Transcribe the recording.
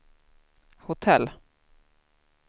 hotell